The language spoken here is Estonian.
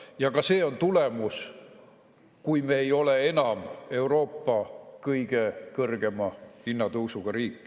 Ja ka see on tulemus, kui me enam ei ole Euroopa kõige kõrgema hinnatõusuga riik.